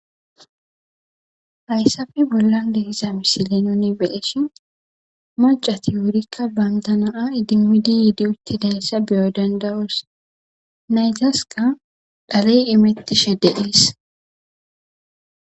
Hayssappe bollan nu be7iza msiley Maccati banta nayta wurika idimmidi uttidayassa be7o dandayos naytaska dhaley imettishe dees.